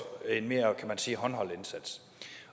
en mere kan man sige håndholdt indsats